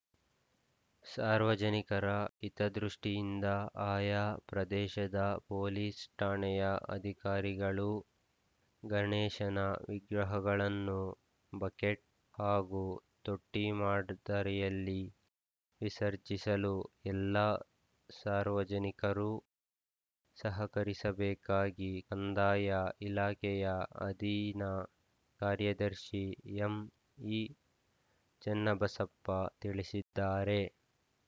ಸಾರ್ವಜನಿಕರ ಹಿತದೃಷ್ಟಿಯಿಂದ ಆಯಾ ಪ್ರದೇಶದ ಪೊಲೀಸ್‌ ಠಾಣೆಯ ಅಧಿಕಾರಿಗಳು ಗಣೇಶನ ವಿಗ್ರಹಗಳನ್ನು ಬಕೆಟ್‌ ಹಾಗೂ ತೊಟ್ಟಿಮಾಡ್ ದರಿಯಲ್ಲಿ ವಿಸರ್ಜಿಸಲು ಎಲ್ಲಾ ಸಾರ್ವಜನಿಕರು ಸಹಕರಿಸಬೇಕಾಗಿ ಕಂದಾಯ ಇಲಾಖೆಯ ಅಧೀನ ಕಾರ್ಯದರ್ಶಿ ಎಂಇಚನ್ನಬಸಪ್ಪ ತಿಳಿಸಿದ್ದಾರೆ